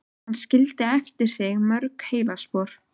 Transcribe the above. Hann skildi eftir sig mörg heillaspor í